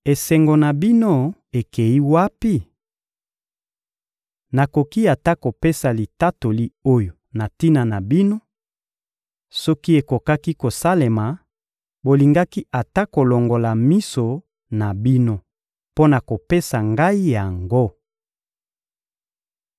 Esengo na bino ekeyi wapi? Nakoki ata kopesa litatoli oyo na tina na bino: Soki ekokaki kosalema, bolingaki ata kolongola miso na bino mpo na kopesa ngai yango.